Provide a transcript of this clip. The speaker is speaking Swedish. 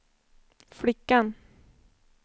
flickan